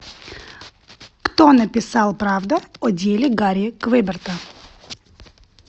кто написал правда о деле гарри квеберта